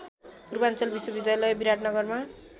पूर्वाञ्चल विश्वविद्यालय विराटनगरमा